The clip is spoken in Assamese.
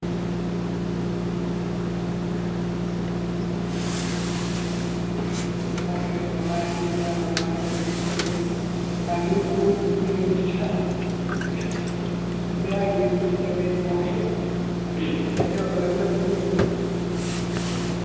bike এতিয়া দবাই আহিছে, লগৰ এটা দৌৰি-দৌৰি আহিছে। bike লৈ ক'ত গুছি গল এটা, বেয়া ঘুৰি ফুৰিছে বে, মই ইয়াতে অকল-অকলে বহি আছো।